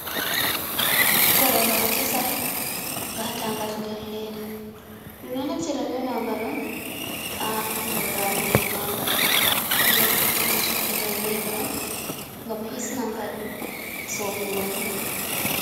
Korowal kesal gataga nder ledda ɗum ɗo naftira be magal on ha jodago do magal, ɗen ɗo suddi ngal ledda on gam hisnangal sofugo diya.